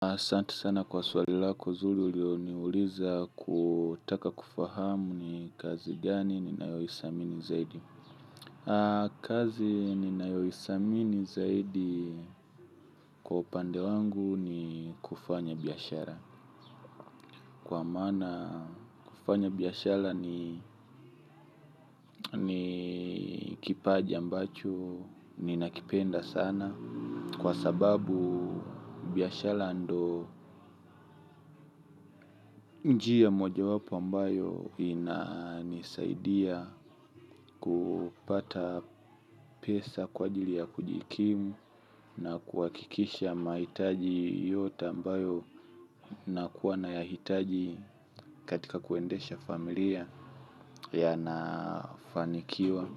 Asanti sana kwa swali lako zuri uliloliuliza kutaka kufahamu ni kazi gani ninayoithamini zaidi. Kazi ninayoithamini zaidi kwa upande wangu ni kufanya biashara. Kwa maana kufanya biashara ni kipaji ambacho ninakipenda sana. Kwa sababu biashala ndo njia mojawapo ambayo inanisaidia kupata pesa kwa ajili ya kujikimu. Na kuhakikisha mahitaji yote ambayo nakuwa nayahitaji katika kuendesha familia yanafanikiwa.